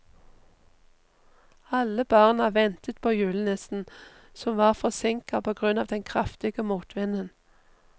Alle barna ventet på julenissen, som var forsinket på grunn av den kraftige motvinden.